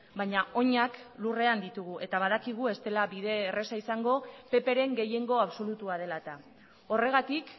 baina oinak lurrean ditugu eta badakigu ez dela bide erraza izango pp ren gehiengo absolutua dela eta horregatik